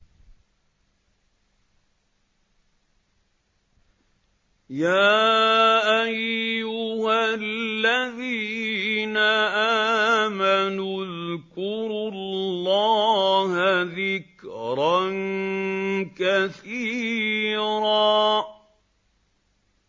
يَا أَيُّهَا الَّذِينَ آمَنُوا اذْكُرُوا اللَّهَ ذِكْرًا كَثِيرًا